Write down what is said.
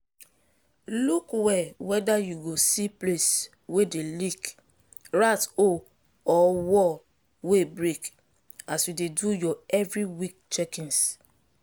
look well whether you go see place wey dey leak rat hole or wall wey break as you dey do your every week checkings.